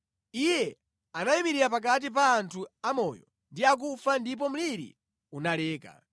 Iye anayimirira pakati pa anthu amoyo ndi akufa ndipo mliri unaleka.